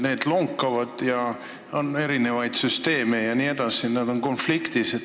Need lonkavad, on erinevaid süsteeme, mis on omavahel konfliktis.